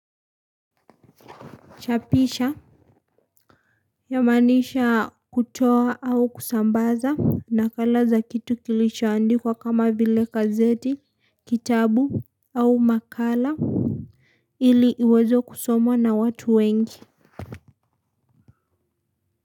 Chapisha. Yamaanisha kutoa au kusambaza nakala za kitu kilicho andikwa kama vile kazeti, kitabu au makala. Ili iwezo kusomwa na watu wengi.